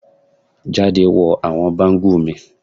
Jade wọ awọn bangle mi